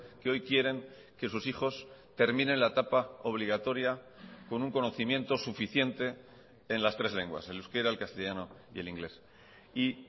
que hoy quieren que sus hijos terminen la etapa obligatoria con un conocimiento suficiente en las tres lenguas el euskera el castellano y el inglés y